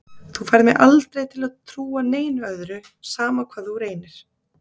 Þú færð mig aldrei til að trúa neinu öðru, sama hvað þú reynir.